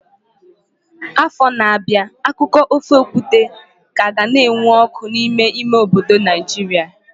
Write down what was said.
Afọ na-abịa akụkọ ofe okwute ka ga na-enwu ọkụ n'ime ime obodo Naijiria.